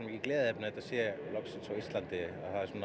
gleðiefni að þetta sé loksins á Íslandi